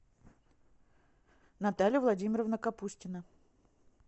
наталья владимировна капустина